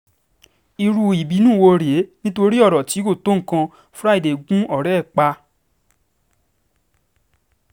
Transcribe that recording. irú ìbùnú um wo rèé nítorí ọ̀rọ̀ tí kò um tó nǹkan fraiday gún ọ̀rẹ́ ẹ̀ pa